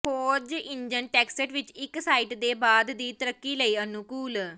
ਖੋਜ engine text ਵਿੱਚ ਇੱਕ ਸਾਈਟ ਦੇ ਬਾਅਦ ਦੀ ਤਰੱਕੀ ਲਈ ਅਨੁਕੂਲ